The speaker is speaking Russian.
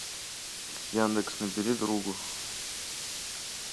яндекс набери другу